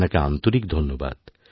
আপনাকে আন্তরিক ধন্যবাদ